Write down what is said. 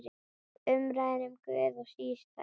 Umræðan um Guð er sístæð.